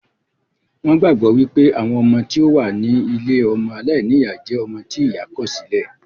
Wón gbàgbọ́ wípé àwọn ọmọ tí ó wà ní ilée ọmọ aláìníyá jẹ́ ọmọ tí ìyá kọ̀ sí lẹ̀